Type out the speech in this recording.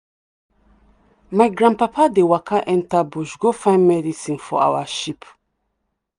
my grandpapa dey waka enter bush go find medicine for our sheep.